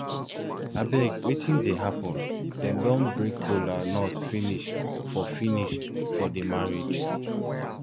abeg wetin dey happen dem don break kola nut finish for finish for the marriage